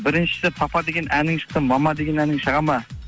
біріншісі папа деген әнің шықты мама деген әнің шығады ма